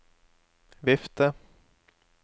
vifte